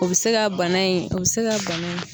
O bi se ka bana in o bi se ka bana in.